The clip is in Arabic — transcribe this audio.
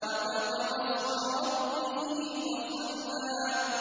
وَذَكَرَ اسْمَ رَبِّهِ فَصَلَّىٰ